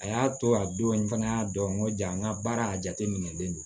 A y'a to a don n fana y'a dɔn n ko jaa n ka baara a jateminɛlen do